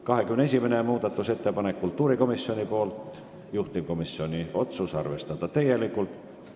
21. muudatusettepanek on kultuurikomisjonilt, juhtivkomisjoni otsus on arvestada täielikult.